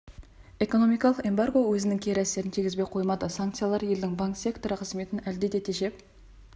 экономикалық эмбарго өзінің кері әсерін тигізбей қоймады санкциялар елдің банк секторы қызметін әлде де тежеп